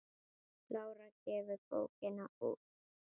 Lára gefur bókina út sjálf.